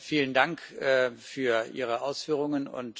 Vielen Dank für Ihre Ausführungen.